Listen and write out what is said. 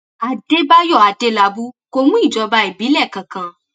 àdẹbàyò adélábù kò mú ìjọba ìbílẹ kankan